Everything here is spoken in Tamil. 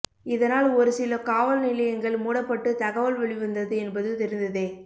இதனால் ஒரு சில காவல் நிலையங்கள் மூடப்பட்டு தகவல் வெளிவந்தது என்பது தெரிந்ததே